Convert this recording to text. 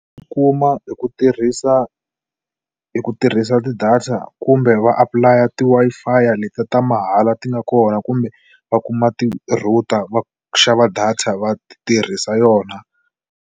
Kuma hi ku tirhisa hi ku tirhisa ti-data kumbe va apulaya ti-Wi-Fi leti ta mahala ti nga kona kumbe va kuma ti-router va xava data va tirhisa yona.